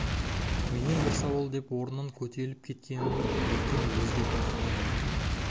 менен бір сауал деп орнынан көтеріліп кеткенін бектен өзі де байқамай қалды